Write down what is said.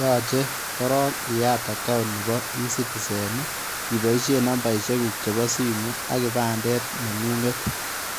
Yachei korong iyaat account nebo [ e citizen] i ibaisheen namba guuk chebo simu